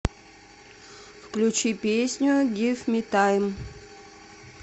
включи песню гив ми тайм